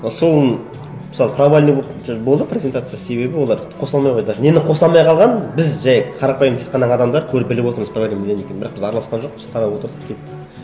а соның мысалы провальный болды презентациясы себебі олар қоса алмай қойды даже нені қоса алмай қалғанын біз жай қарапайым тыс қана адамдар көріп біліп отырмыз проблема неде екенін бірақ біз араласқан жоқпыз қарап отырдық